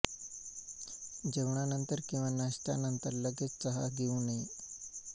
जेवणानंतर किंवा नाश्त्या नंतर लगेच चहा घेऊ नये